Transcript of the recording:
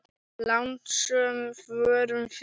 Lánsöm vorum við.